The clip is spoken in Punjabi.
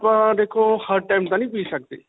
ਆਪਾਂ ਦੇਖੋ ਹਰ time ਤਾਂ ਨਹੀਂ ਪੀ ਸਕਦੇ.